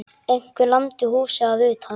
Einhver lamdi húsið að utan.